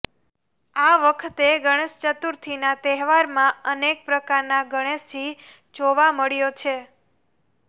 આ વખતે ગણેશચતુર્થીના તહેવારમાં અનેક પ્રકારના ગણેશજી જોવા મળ્યો છે